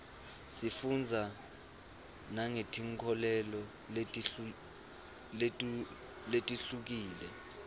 sifundza nangetinkholelo letihlukile